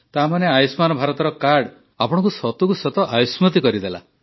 ତାମାନେ ଆୟୁଷ୍ମାନ ଭାରତର କାର୍ଡ ଆପଣଙ୍କୁ ସତକୁ ସତ ଆୟୁଷ୍ମାନ କରିଦେଲା